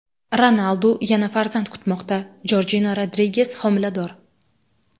Ronaldu yana farzand kutmoqda: Jorjina Rodriges homilador.